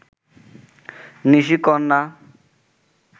নিশিকন্যা